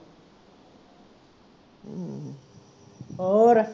ਹੋਰ?